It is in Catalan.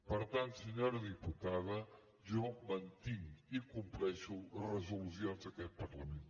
per tant senyora diputada jo mantinc i compleixo les resolucions d’aquest parlament